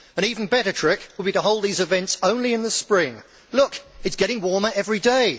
An even better trick would be to hold these events only in the spring look, it is getting warmer every day.